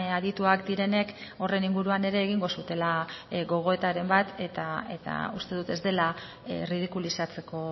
adituak direnek horren inguruan ere egingo zutela gogoetaren bat eta uste dut ez dela erridikulizatzeko